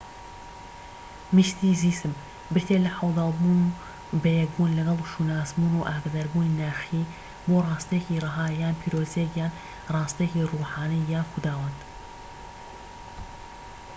میستیسزم بریتیە لە عەودال بوون بە یەکبوون لەگەڵ و شوناسبوون و ئاگاداربوونی ناخیی بۆ ڕاستیەکی رەها یان پیرۆزییەك یان ڕاستیەکی ڕوحانی یان خوداوەند